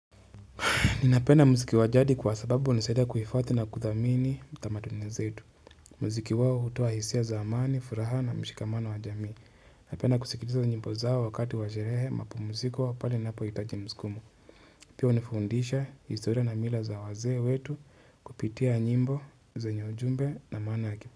Ninapenda mziki wa jadi kwa sababu hunisaida kuhifathi na kuthamini tamaduni zetu. Mziki wao hutoa hisia za amani, furaha na mshikamano wa jamii. Napenda kusikiliza nyimbo zao wakati wa sherehe mapumziko pale ninapoitaji mskumo. Pia hunifundisha historia na mila za wazee wetu kupitia nyimbo zenye ujumbe na maana.